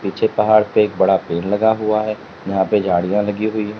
पीछे पहाड़ पे एक बड़ा पेड़ लगा हुआ है वहां पे झाड़ियां भी लगी हुई हैं।